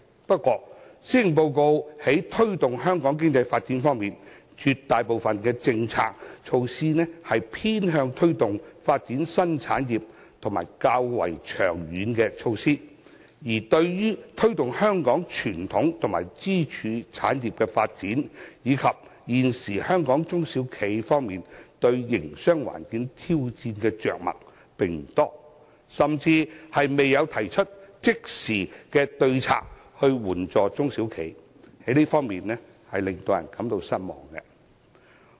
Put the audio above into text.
不過，在推動香港經濟發展方面，施政報告中絕大部分的政策措施偏向推動發展新產業，時效也較為長遠，而對於推動香港傳統及支柱產業發展，以及幫助香港中小企現時面對營商環境挑戰的着墨不多，甚至並未提出即時的對策來援助中小企，令人感到失望。